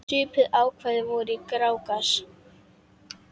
Svipuð ákvæði voru í Grágás.